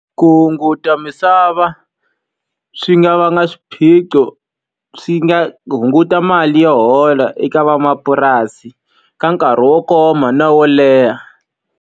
Ku hunguta misava swi nga vanga swiphiqo. Swi nga hunguta mali yo hola eka van'wamapurasi, ka nkarhi wo koma na wo leha.